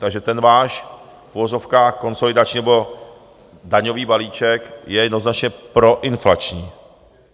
Takže ten váš v uvozovkách konsolidační nebo daňový balíček je jednoznačně proinflační.